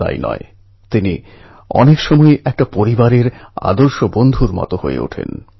যেমন নতুন নতুন দক্ষতা নতুন নতুন ভাষা শিখুন